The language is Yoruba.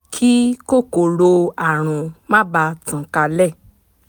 kí kòkòrò àrùn má bàa tàn kálẹ̀